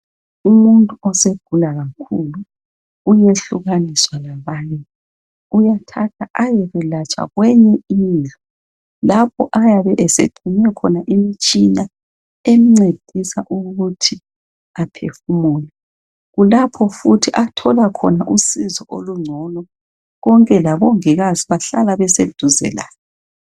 Umuntu osegula kakhulu uyehlukaniswa labanye uyathathwa ayekwelatshwa kwenye indlu lapho ayabe esexhunywe khona imitshina emncedisa ukuthi aphefumule kulapho athola khona usizo olungcono konke labongikazi bahlala beseduzane laye.